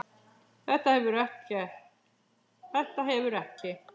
Þetta hefur ekki.?